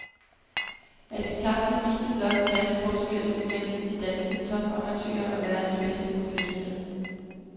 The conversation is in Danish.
At vi tabte viste blot klasseforskellen mellem de danske topamatører og verdens bedste professionelle.